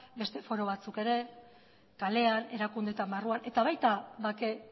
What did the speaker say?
beste foro batzuk ere kalean erakundeetan barruan eta baita bake